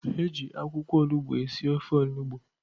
Eji akwụkwọ olugbu esi ofe olugbu.